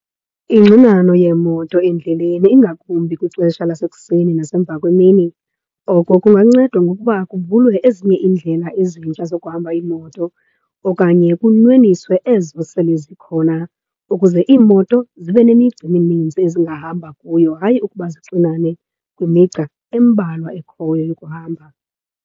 Ingxinano yeemoto endleleni ingakumbi kwixesha lasekuseni nasemva kwemini, oko kungancedwa ngokuba kuvulwe ezinye iindlela ezintsha zokuhamba iimoto okanye kunweniswe ezo sele zikhona ukuze iimoto zibe nemigca emininzi ezingahamba kuyo. Hayi ukuba zixinane kwimigca embalwa ekhoyo yokuhamba.